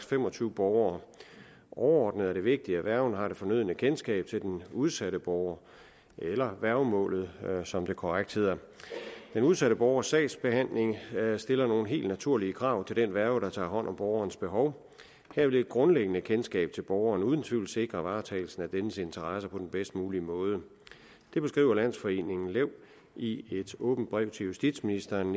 fem og tyve borgere overordnet er det vigtigt at værgen har det fornødne kendskab til den udsatte borger eller værgemålet som det korrekt hedder den udsatte borgers sagsbehandling stiller nogle helt naturlige krav til den værge der tager hånd om borgerens behov her vil et grundlæggende kendskab til borgeren uden tvivl sikre varetagelsen af dennes interesser på den bedst mulige måde det beskriver landsforeningen lev i et åbent brev til justitsministeren